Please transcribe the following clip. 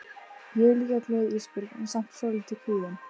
Ég er líka glöð Ísbjörg en samt svolítið kvíðin.